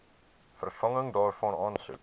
vervanging daarvan aansoek